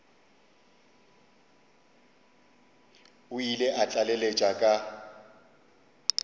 o ile a tlaleletša ka